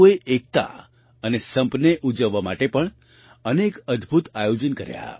દેશના લોકોએ એકતા અને સંપને ઉજવવા માટે પણ અનેક અદ્ભુત આયોજન કર્યાં